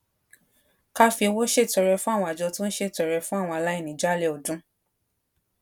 ká fi owó ṣètọrẹ fún àwọn àjọ tó ń ṣètọrẹ fún àwọn aláìní jálè ọdún